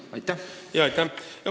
Aitäh!